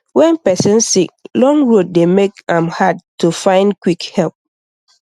when person sick long road dey make am hard to find quick help